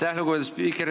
Aitäh, lugupeetud spiiker!